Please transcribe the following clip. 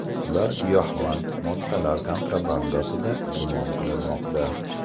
Ular giyohvand moddalar kontrabandasida gumon qilinmoqda.